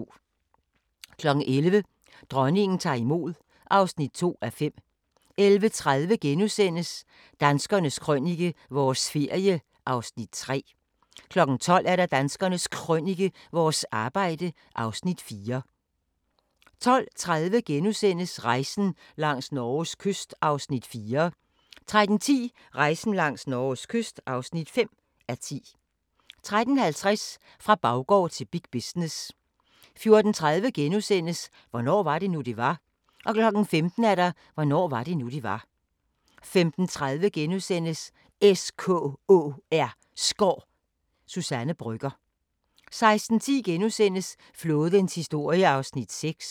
11:00: Dronningen tager imod (2:5) 11:30: Danskernes Krønike – vores ferie (Afs. 3)* 12:00: Danskernes Krønike - vores arbejde (Afs. 4) 12:30: Rejsen langs Norges kyst (4:10)* 13:10: Rejsen langs Norges kyst (5:10) 13:50: Fra baggård til big business 14:30: Hvornår var det nu, det var? * 15:00: Hvornår var det nu, det var? 15:30: SKÅR – Suzanne Brøgger * 16:10: Flådens historie (6:7)*